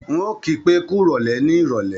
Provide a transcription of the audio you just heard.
N ò kí pé kúròlè ní ìrọ̀lé